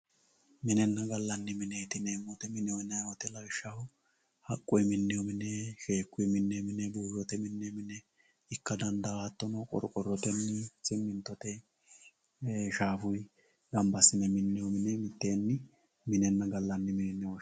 Minenna gallanni mineeti yineemo woyiite mineho yinayii wote haqqu minnoy mini sheekuyi minnoy mini buuyote minoyi mine ikka dandaayo hattono qorqorotenni simintote shaafuyii gamba assine minnoye mine miteeni minehonna gallanni mine yine woshshinanni.